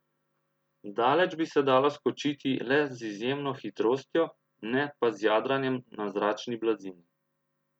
Daleč bi se dalo skočiti le z izjemno hitrostjo, ne pa z jadranjem na zračni blazini.